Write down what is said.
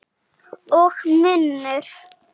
Og munnur